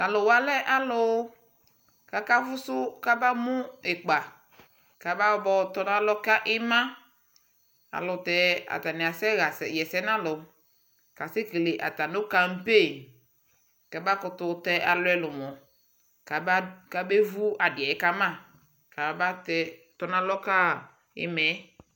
Taluwa lɛ aluu kakaƒu kama tɛɛ ikpakabayɔtɔnalɔ kaima ayɛlutɛ atani kasɛɣɛsɛ nalu atani kasɛkele campaingn kabevu adiɛ kama kamatɔ nalɔ kama iimaɛ